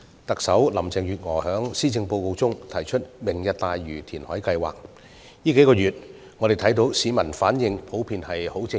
特首林鄭月娥在施政報告中提出"明日大嶼願景"填海計劃，我們看到市民近數月來的反應普遍十分正面。